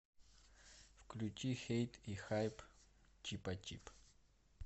включи хейт и хайп чипачип